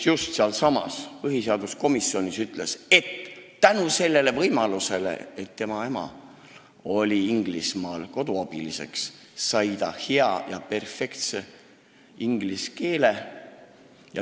Ta ütles sealsamas põhiseaduskomisjonis, et tänu sellele, et tema ema oli Inglismaal koduabiliseks, sai ta hea, perfektse inglise keele.